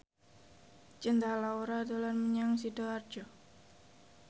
Cinta Laura dolan menyang Sidoarjo